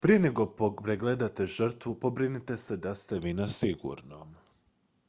prije nego pregledate žrtvu pobrinite se da ste vi na sigurnom